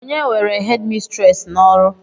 onye were hédmistrés n'ọrụ